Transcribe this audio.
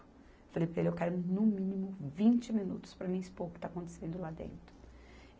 Falei para ele, eu quero no mínimo vinte minutos para mim expor o que está acontecendo lá dentro.